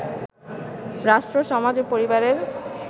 রাষ্ট্র, সমাজ ও পরিবারের